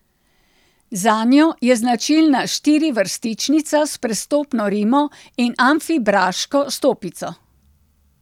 Zanjo je značilna štirivrstičnica s prestopno rimo in amfibraško stopico.